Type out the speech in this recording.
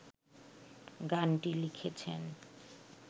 গানটি লিখেছেন